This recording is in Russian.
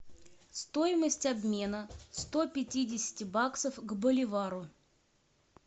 стоимость обмена сто пятидесяти баксов к боливару